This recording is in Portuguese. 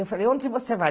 Eu falei, onde você vai?